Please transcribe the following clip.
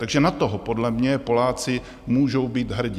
Takže na toho podle mě Poláci můžou být hrdí.